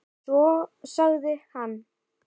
Svo sagði hann.